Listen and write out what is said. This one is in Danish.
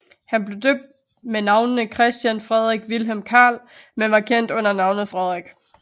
Han blev døbt med navnene Christian Frederik Vilhelm Carl men var kendt under navnet Frederik